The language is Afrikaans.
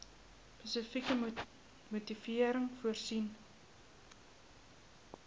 spesifieke motivering voorsien